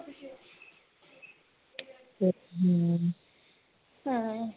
ਹਾਂ